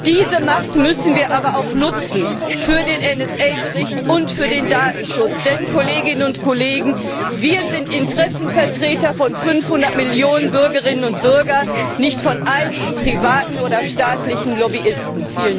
Diese Macht müssen wir aber auch nutzen für den NSA Bericht und für den Datenschutz, denn, Kolleginnen und Kollegen, wir sind Interessenvertreter von 500Millionen Bürgerinnen und Bürgern, nicht von einigen privaten oder staatlichen Lobbyisten!